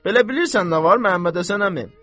Belə bilirsən nə var, Məmmədhəsən əmi?